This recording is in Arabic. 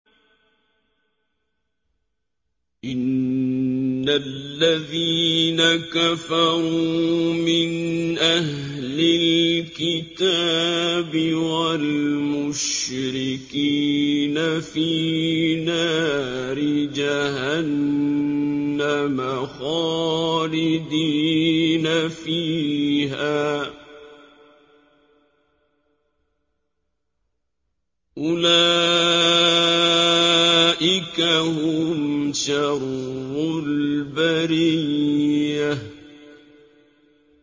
إِنَّ الَّذِينَ كَفَرُوا مِنْ أَهْلِ الْكِتَابِ وَالْمُشْرِكِينَ فِي نَارِ جَهَنَّمَ خَالِدِينَ فِيهَا ۚ أُولَٰئِكَ هُمْ شَرُّ الْبَرِيَّةِ